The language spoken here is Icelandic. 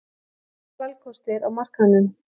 Færri valkostir á markaðnum.